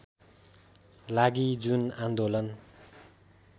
लागि जुन आन्दोलन